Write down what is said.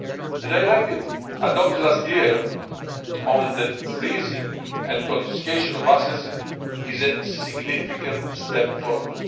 The directive adopted last year on the freezing and confiscation of assets is a significant step forward.